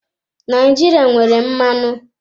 Naijiria nwere mmanụ.